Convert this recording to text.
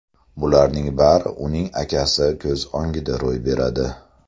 Bularning bari uning akasi ko‘z o‘ngida ro‘y beradi.